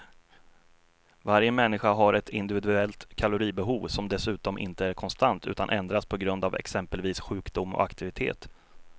Varje människa har ett individuellt kaloribehov som dessutom inte är konstant utan ändras på grund av exempelvis sjukdom och aktivitet.